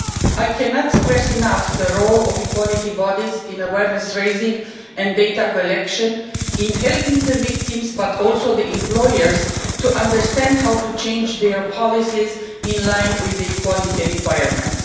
I cannot stress enough the role of equality bodies in awareness raising and data election in helping the victims but also the employers to understand how to change their policies in line with equality requirements.